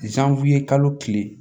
kalo tile